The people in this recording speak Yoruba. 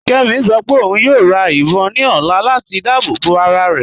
Kẹ́mí ṣọ́ pẹ ọ̀un yóò rá ìbọn ní ọ̀là latí dáàbòbọ arárẹ.